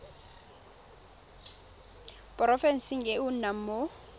porofenseng e o nnang mo